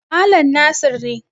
Malam Nasir ne.